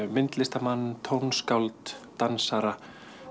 myndlistarmenn tónskáld dansara